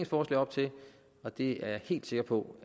forslag op til og det er jeg helt sikker på